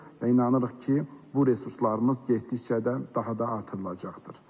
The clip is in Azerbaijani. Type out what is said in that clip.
Və inanırıq ki, bu resurslarımız getdikcə də daha da artırılacaqdır.